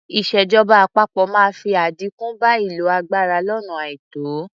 Ìṣèjọba àpapọ máa fi àdínkù bá ìlò agbára lónà àìtó.